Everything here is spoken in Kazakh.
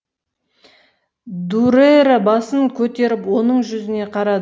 дүрэрэ басын көтерін оның жүзіне қарады